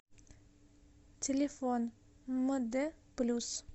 телефон мд плюс